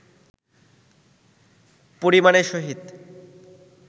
পরিমাণের সহিত